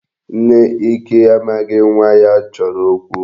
Nne Ike amaghị nwa ya chọrọ okwu.